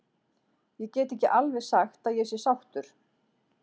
Ég get ekki alveg sagt að ég sé sáttur.